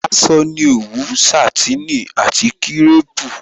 Aṣọ ni òwú, Sàtínì àti kírèpù